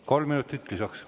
Kolm minutit lisaks.